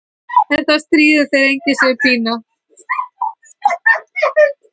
En það stríðir þeim enginn, segir Pína.